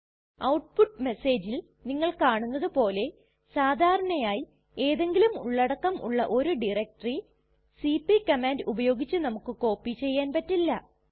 output മെസ്സേജിൽ നിങ്ങൾ കാണുന്നതുപോലെ സാധാരണയായി എന്തെങ്കിലും ഉള്ളടക്കം ഉള്ള ഒരു ഡയറക്ടറി സിപി കമാൻഡ് ഉപയോഗിച്ച് നമുക്ക് കോപ്പി ചെയ്യാൻ പറ്റില്ല